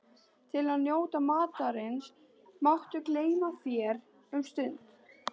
Til að njóta matarins máttu gleyma þér um stund